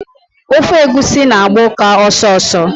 Ofe egwusi na-agba ụka ọsọsọ.